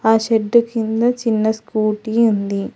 ఆ షెడ్ కింద చిన్న స్కూటీ ఉంది.